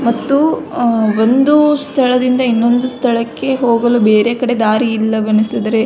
ಮತ್ತು ಒಂದು ಸ್ಥಳದಿಂದ ಇನ್ನೊಂದು ಸ್ಥಳಕ್ಕೆ ಹೋಗಲು ಬೇರೆ ಕಡೆ ದಾರಿ ಇಲ್ಲವೆನಿಸಿದರೆ --